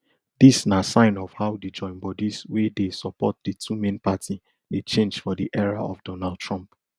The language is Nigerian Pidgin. dis na sign of how di joinbodies wey dey support di two main party dey change for di era of donald trump